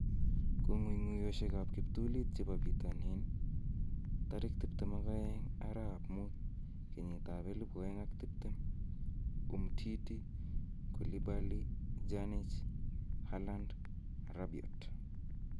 Kong'ung'uyosiekab kiptulit chebo bitonin 22/05/2020: Umtiti, Koulibaly, Pjanic, Haaland, Rabiot